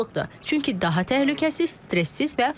Çünki daha təhlükəsiz, stressiz və faydalıdır.